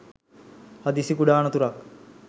හදිසි කුඩා අනතුරක්